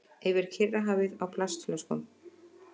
Yfir Kyrrahafið á plastflöskum